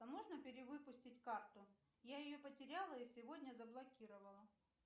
а можно перевыпустить карту я ее потеряла и сегодня заблокировала